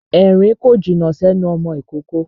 Èrín kò jìnnà sẹ́nu ọmọ ìkókó.